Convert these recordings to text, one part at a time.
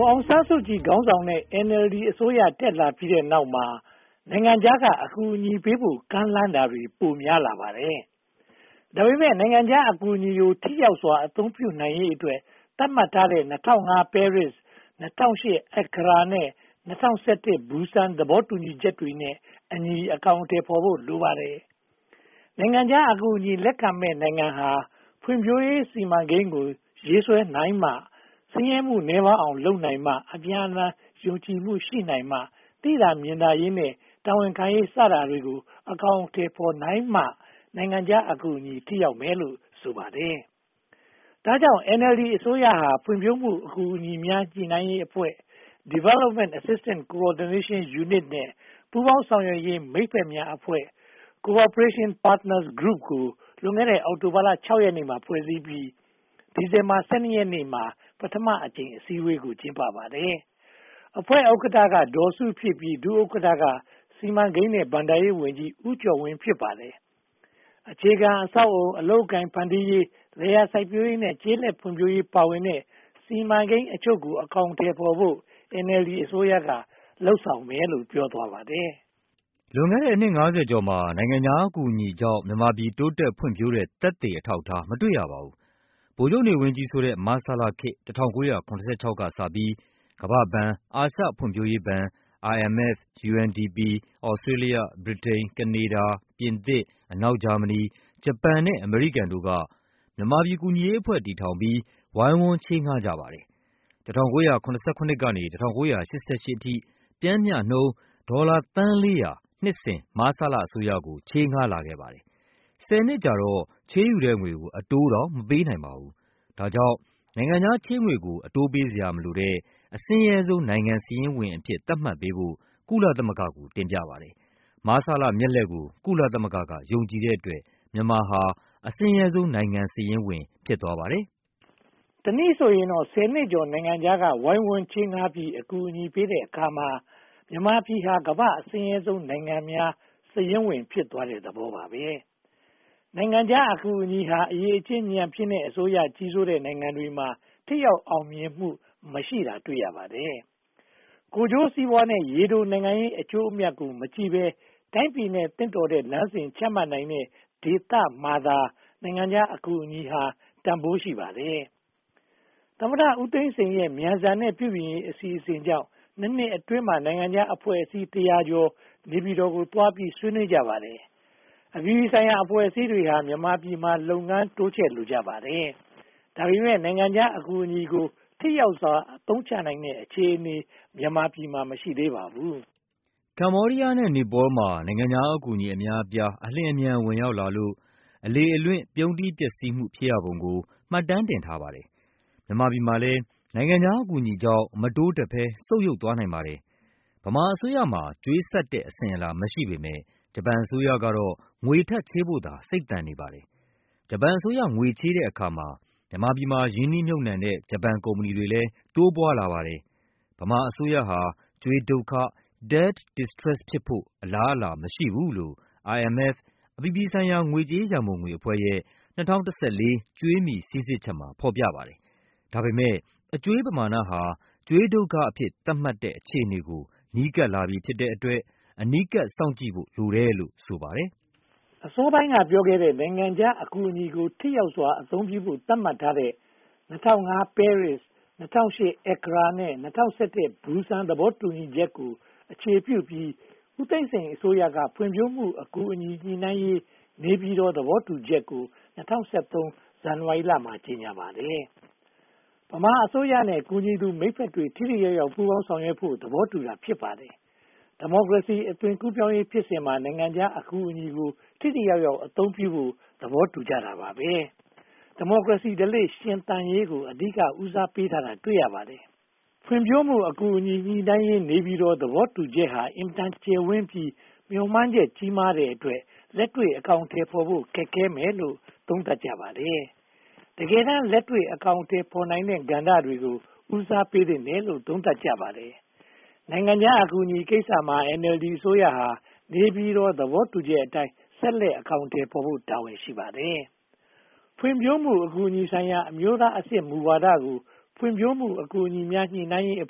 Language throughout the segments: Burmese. ဒေါ်အောင်ဆန်းစုကြည်ခေါင်းဆောင်တဲ့ NLD အစိုးရ တက်လာပြီးနောက်မှာ နိုင်ငံခြားက အကူအညီပေးဖို့ ကမ်းလှမ်းလာတာတွေ ပိုများလာပါတယ်။ ဒါပေမဲ့ နိုင်ငံခြားအကူအညီကို ထိရောက်စွာ အသုံးပြုရေးအတွက် သတ်မှတ်ထားတဲ့ ပဲရစ် (၂၀၀၅) ၊ အက္ကရာ (၂၀၀၈) နဲ့ ဘူစန် (၂၀၁၁) သဘောတူညီချက်တွေနဲ့အညီ အကောင်အထည်ဖော်ဖို့ လိုပါတယ်။ နိုင်ငံခြားအကူအညီ လက်ခံမယ့် နိုင်ငံဟာ ဖွံ့ဖြိုးရေးစီမံကိန်းကို ရေးဆွဲနိုင်မှ ဆင်းရဲမှုနည်းပါးအောင် လုပ်နိုင်မှ၊ အပြန်အလှန် ယုံကြည်မှု ရရှိနိုင်မှ သိသာမြင်သာရေးနဲ့ တာဝန်ခံရေး စတာတွေ အကောင်အထည်ဖော်နိုင်မှ နိုင်ငံခြားအကူအညီ ထိရောက်မယ်လို့ ဆိုပါတယ်။ ဒါကြောင့် NLD အစိုးရဟာ ဖွံ့ဖြိုးမှုအကူအညီများ ညှိနှိုင်းရေးအဖွဲ့ (Development Assistance Coordination Unit) နဲ့ ပူးပေါင်းဆောင်ရွက်ရေး မိတ်ဖက်များအဖွဲ့ (Cooperation Partners Group) ကို လွန်ခဲ့တဲ့ အောက်တိုဘာ (၆) ရက်မှာ ဖွဲ့စည်းပြီး ဒီဇင်ဘာ (၁၂) ရက်နေ့မှာ ပထမအကြိမ် အစည်းအဝေးကို ကျင်းပပါတယ်။ အဖွဲ့ဥက္ကဋ္ဌက ဒေါ်စုဖြစ်ပြီး ဒုဥက္ကဋ္ဌက စီမံကိန်းနဲ့ ဘဏ္ဍာရေးဝန်ကြီး ဦးကျော်ဝင်း ဖြစ်ပါတယ်။ အခြေခံအဆောက်အအုံ၊ အလုပ်အကိုင်ဖန်တီးရေး၊ လယ်ယာစိုက်ပျိုးရေးနဲ့ ကျေးလက်ဖွံ့ဖြိုးရေး ပါဝင်တဲ့ စီမံကိန်းအချို့ကို အကောင်အထည်ဖော်ဖို့ NLD အစိုးရက လုပ်ဆောင်မယ်လို့ ပြောသွားပါတယ်။ လွန်ခဲ့တဲ့ နှစ် (၅၀) ကျော်မှာ နိုင်ငံခြားအကူအညီကြောင့် မြန်မာပြည် တိုးတက်ဖွံ့ဖြိုးတဲ့ သက်သေအထောက်အထား မတွေ့ရပါဘူး။ ဗိုလ်ချုပ်နေဝင်း ကြီးစိုးတဲ့ မဆလခေတ် ၁၉၇၆ ကစပြီး ကမ္ဘာ့ဘဏ်၊ အာရှဖွံ့ဖြိုးရေးဘဏ်၊ IMF, UNDP, Australia, Britain, Canada, French, အနောက်ဂျာမဏီ၊ ဂျပန်နဲ့ အမေရိကန်တို့က မြန်မာပြည်ကူညီရေးအဖွဲ့ တည်ထောင်ပြီး ဝိုင်းဝန်းချေးငှားကြပါတယ်။ ၁၉၇၇ ကနေ ၁၉၈၈ အထိ ပျှမ်းမျှနှုန်း ဒေါ်လာသန်းလေးရာ နှစ်စဉ် မဆလအစိုးရကို ချေးငှားလာခဲ့တယ်။ ဆယ်နှစ်ကြာတော့ ချေးယူတဲ့ငွေကို အတိုးတောင် မပေးနိုင်ပါဘူး။ ဒါကြောင့် နိုင်ငံခြားချေးငွေကို အတိုးပေးစရာ မလိုတဲ့၊ အဆင်းရဲဆုံးနိုင်ငံ စာရင်းဝင်အဖြစ် သတ်မှတ်ပေးဖို့ ကုလသမဂ္ဂ က တင်ပြပါတယ်။ မဆလမျက်လှည့်ကို ကုလသမဂ္ဂ က ယုံကြည်တဲ့အတွက် မြန်မာဟာ အဆင်းရဲဆုံးနိုင်ငံစာရင်းဝင် ဖြစ်သွားပါတယ်။ တနည်းဆိုရင်တော့ ဆယ်နှစ်ကျော် နိုင်ငံခြားက ဝိုင်းဝန်းချေးငှားပြီး အကူအညီပေးတဲ့အခါမှာ မြန်မာပြည်ဟာ ကမ္ဘာ့အဆင်းရဲဆုံးနိုင်ငံများ စာရင်းဝင် ဖြစ်သွားတဲ့သဘောပါ။ နိုင်ငံခြားအကူအညီဟာ အရည်အချင်း ညံ့ဖျင်းတဲ့အစိုးရ ကြီးစိုးတဲ့နိုင်ငံတွေမှာ ထိရောက်အောင်မြင်မှု မရှိတာ တွေ့ရပါတယ်။ ကိုယ်ကျိုးစီးပွားနဲ့ ရေတိုနိုင်ငံရေး အကျိုးအမြတ်ကို မကြည့်ဘဲ တိုင်းပြည်နဲ့ သင့်တော်တဲ့ လမ်းစဉ်ချမှတ်နိုင်တဲ့ ဒေသမှာသာ နိုင်ငံခြားအကူအညီဟာ တန်းဖိုးရှိပါတယ်။ သမ္မတဦးသိန်းစိန်ရဲ့ မြန်ဆန်တဲ့ ပြုပြင်ရေးအစီအစဉ်ကြောင့် (၂) နှစ်အတွင်းမှာ နိုင်ငံခြားအဖွဲ့အစည်း တရာကျော် နေပြည်တော်ကိုသွားပြီး ဆွေးနွေးကြပါတယ်။ အပြည်ပြည်ဆိုင်ရာ အဖွဲ့အစည်းတွေဟာ မြန်မာပြည်မှာ လုပ်ငန်းတိုးချဲ့လိုကြပါတယ်။ ဒါပေမဲ့ နိုင်ငံခြားအကူအညီကို ထိရောက်စွာ အသုံးချနိုင်တဲ့ အခြေအနေ မြန်မာမှာ မရှိသေးပါဘူး။ ကမ္ဘောဒီယားနဲ့ နီပေါလ်မှာ နိုင်ငံခြားအကူအညီ အများအပြား အလျင်အမြန် ဝင်ရောက်လာလို့ အလေအလွင့် ပြုန်းတီးပျက်စီးမှုများ ဖြစ်ရပုံကို မှတ်တမ်းတင်ထားပါတယ်။ မြန်မာပြည်မှာလည်း နိုင်ငံခြားအကူအညီကြောင့် မတိုးတက်ဘဲ ဆုတ်ယုတ်သွားနိုင်ပါတယ်။ ဗမာအစိုးရမှာ ကြွေးဆပ်တဲ့ အစဉ်အလာ မရှိပေမယ့် ဂျပန်အစိုးရကတော့ ငွေထပ်ချေးဖို့သာ စိတ်သန်နေပါတယ်။ ဂျပန်အစိုးရ ငွေချေးတဲ့အခါမှာ မြန်မာပြည်မှာ ရင်းနှီးမြုပ်နံှတဲ့ ဂျပန်ကုမ္ပဏီတွေကလည်း တိုးပွားလာပါတယ်။ ဗမာအစိုးရဟာ ကြွေးဒုက္ခ Debt Distress ဖြစ်လာဖို့ အလားအလာမရှိဘူးလို့ IMF အပြည်ပြည်ဆိုင်ရာ ငွေကြေးရန်ပုံငွေအဖွဲ့ရဲ့ (၂၀၁၄) ကြွေးမြီစီစစ်ချက်မှာ ဖော်ပြပါတယ်။ ဒါပေမဲ့ အကြွေးပမာဏဟာ ကြွေးဒုက္ခအဖြစ် သတ်မှတ်တဲ့ အခြေအနေကို နီးကပ်လာပြီဖြစ်တဲ့အတွက် အနီးကပ်စောင့်ကြည့်ဖို့ လိုတယ်လို့ ဆိုပါတယ်။ အစောပိုင်းက ပြောခဲ့တဲ့ နိုင်ငံခြားအကူအညီကို ထိရောက်စွာအသုံးပြုဖို့ သတ်မှတ်ထားတဲ့ ပဲရစ် (၂၀၀၅) အက္ကရာ (၂၀၀၈) နဲ့ ဘူစန် (၂၀၁၁) သဘောတူညီချက်ကို အခြေပြုပြီး ဦးသိန်းစိန်အစိုးရက ဖွံ့ဖြိုးမှုအကူအညီ ညှိနှိုင်းရေး နေပြည်တော်သဘောတူချက်ကို ၂၀၁၃ ဇန်နဝါရီမှာ ကြေညာပါတယ်။ ဗမာအစိုးရနဲ့ ကူညီသူမိတ်ဖက်တွေ ထိထိရောက်ရောက် ပူးပေါင်းဆောင်ရွက်ဖို့ သဘောတူတာ ဖြစ်ပါတယ်။ ဒီမိုကရေစီ အသွင်ကူးပြောင်းရေးဖြစ်စဉ်မှာ နိုင်ငံခြားအကူအညီကို ထိထိရောက်ရောက် အသုံးပြုဖို့ သဘောတူကြတာပါ။ ဒီမိုကရေစီဓလေ့ ရှင်သန်ရေးကို အဓိက ဦးစားပေးထားတာကို တွေ့ရပါတယ်။ ဖွံ့ဖြိုးမှုအကူအညီ ညှိနှိုင်းရေး နေပြည်တော်သဘောတူချက်ဟာ အင်မတန်ကျယ်ဝန်းပြီး မျှော်မှန်းချက် ကြီးမားတဲ့အတွက် လက်တွေ့အကောင်အထည်ဖော်ဖို့ ခက်ခဲမယ်လို့ သုံးသပ်ကြပါတယ်။ တကယ့်လက်တွေ့ အကောင်အထည်ဖော်နိုင်မယ့် ကဏ္ဍတွေကို ဦးစားပေးသင့်တယ်လို့ သုံးသပ်ကြပါတယ်။ နိုင်ငံခြားအကူအညီကိစ္စမှာ NLD အစိုးရဟာ နေပြည်တော်သဘောတူချက်အတိုင်း ဆက်လက်အကောင်အထည်ဖော်ဖို့ တာဝန်ရှိပါတယ်။ ဖွံ့ဖြိုးမှု အကူအညီဆိုင်ရာ အမျိုးသားအဆင့် မူဝါဒကို ဖွံ့ဖြိုးမှုအကူအညီများ ညှိနှိုင်းရေးအ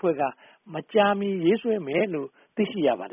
ဖွဲ့က မကြာမီရေးဆွဲမယ်လို့ သိရှိရပါတယ်